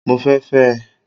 Mo fẹ́ fẹ́ ẹ